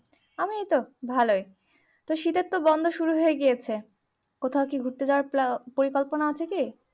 আমিও তো ভালোই তো শীতের তো শুরু হয়ে গিয়েছে কোথায় কি ঘুরতে যাওয়ার প্লা~পরিকল্পনা আছে কি